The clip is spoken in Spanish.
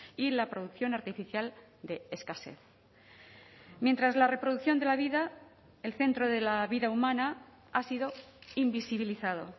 y la producción artificial de escasez mientras la reproducción de la vida el centro de la vida humana ha sido invisibilizado